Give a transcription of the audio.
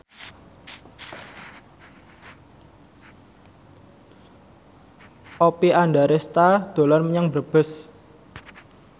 Oppie Andaresta dolan menyang Brebes